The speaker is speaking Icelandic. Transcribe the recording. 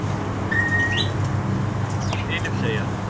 Filippseyjar